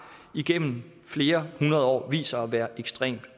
igennem flere hundrede år vist sig at være ekstremt